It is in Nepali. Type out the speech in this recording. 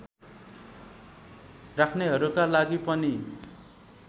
राख्नेहरूका लागि पनि